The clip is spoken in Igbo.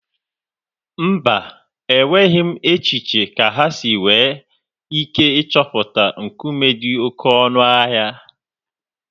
Mba, enweghị m echiche kà há si nwee ike ịchọpụta nkume dị oké ọnụ ahịa